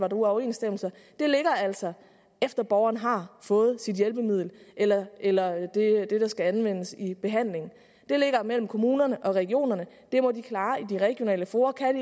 er uoverensstemmelser ligger altså efter at borgeren har fået sit hjælpemiddel eller eller det der skal anvendes i behandlingen det ligger mellem kommunerne og regionerne det må de klare i de regionale fora kan